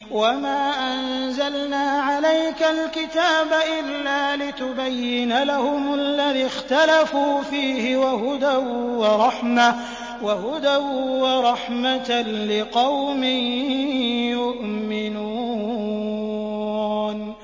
وَمَا أَنزَلْنَا عَلَيْكَ الْكِتَابَ إِلَّا لِتُبَيِّنَ لَهُمُ الَّذِي اخْتَلَفُوا فِيهِ ۙ وَهُدًى وَرَحْمَةً لِّقَوْمٍ يُؤْمِنُونَ